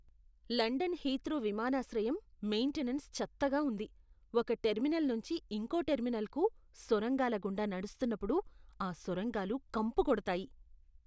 London Heathrow విమానాశ్రయం maintenance చెత్తగా ఉంది. ఒక టెర్మినల్ నుంచి ఇంకో టెర్మినల్కు సొరంగాల గుండా నడుస్తున్నప్పుడు, ఆ సొరంగాలు కంపు కొడతాయి.